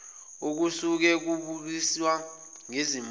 okusuke kubukiswa ngezinto